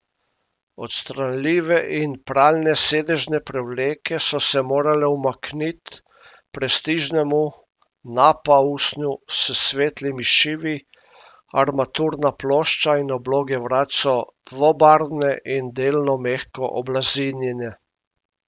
Odstranljive in pralne sedežne prevleke so se morale umaknit prestižnemu nappa usnju s svetlimi šivi, armaturna plošča in obloge vrat so dvobarvne in delno mehko oblazinjene.